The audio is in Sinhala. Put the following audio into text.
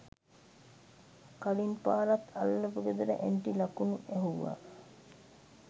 කලින් පාරත් අල්ලපු ගෙදර ඇන්ටි ලකුණු ඇහුවා